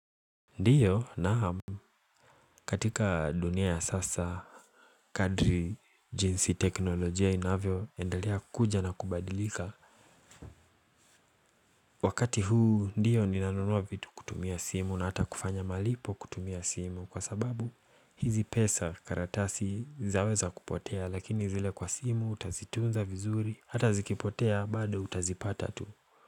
Ndiyo naam katika dunia ya sasa kadri jinsi teknolojia inavyoendelea kuja na kubadilika Wakati huu ndiyo ninanunua vitu kutumia simu na hata kufanya malipo kutumia simu kwa sababu hizi pesa karatasi zaweza kupotea lakini zile kwa simu utazitunza vizuri hata zikipotea bado utazipata tu.